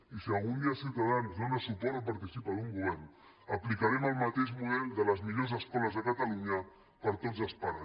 i si algun dia ciutadans dóna suport o participa en un govern aplicarem el mateix model de les millors escoles de catalunya per a tots els pares